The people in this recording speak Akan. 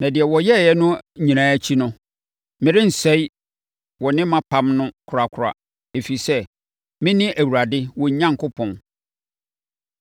Na deɛ wɔyɛɛ no nyinaa akyi no, merensɛe wɔne mʼapam no korakora, ɛfiri sɛ, mene Awurade wɔn Onyankopɔn.